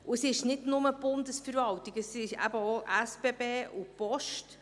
Und es ist nicht bloss die Bundesverwaltung, es sind eben auch die SBB und die Post.